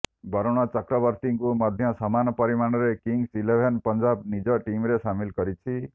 ବରୁଣ ଚକ୍ରବର୍ତ୍ତୀଙ୍କୁ ମଧ୍ୟ ସମାନ ପରିମାଣରେ କିଙ୍ଗସ୍ ଇଲେଭେନ୍ ପଂଜାବ ନିଜର ଟିମରେ ସାମିଲ କରିଛି